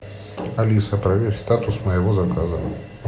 алиса проверь статус моего заказа